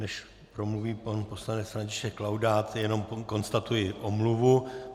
Než promluví pan poslanec František Laudát, jenom konstatuji omluvu.